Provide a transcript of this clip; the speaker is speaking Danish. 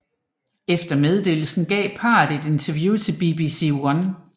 Efter meddelelsen gav parret et interview til BBC One